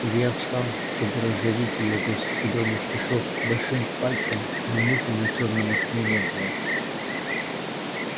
илья встал чтобы раздавить её до зелёных кишок большим пальцем но мухи на чёрном окне не было